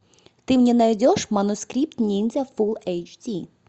ты мне найдешь манускрипт ниндзя фулл эйч ди